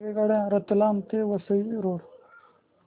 रेल्वेगाड्या रतलाम ते वसई रोड